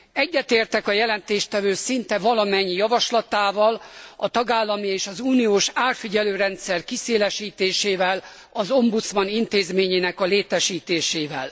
Egyetértek a jelentéstevő szinte valamennyi javaslatával, a tagállami és az uniós árfigyelő rendszer kiszélesítésével, az ombudsman intézményének a létesítésével.